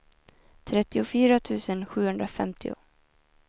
trettiofyra tusen sjuhundrafemtio